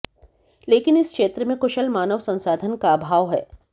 लेकिन इस क्षेत्र में कुशल मानव संसाधन का अभाव है